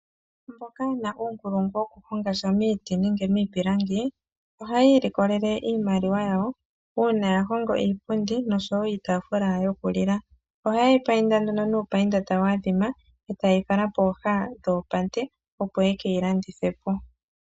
Mboka yena uunkulungu woku honga Sha Miiti nenge miipilangi Ohayiilikolele iimaliwa yawo uuna ya hongo iipundi, oshowo iitafula yokulila. oha yeyi painda noopainda tadhaadhima etayikala pooha dhopate opo ye keyi landithepo.